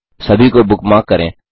सभी को बुकमार्क करें